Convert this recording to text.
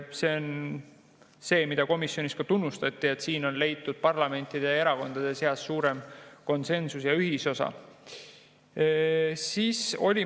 See on see, mida komisjonis tunnustati, et on leitud parlamendierakondade seas suurem konsensus ja ühisosa.